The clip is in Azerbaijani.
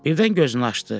Birdən gözünü açdı.